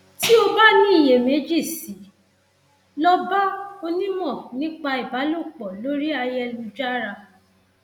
tí o bá ní iyèméjì sí i lọ bá onímọ nípa ìbálòpọ lórí ayélujára